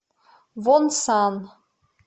вонсан